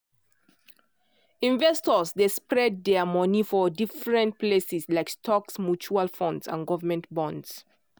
investors dey spread dia money for different places like stocks mutual funds and govt bonds.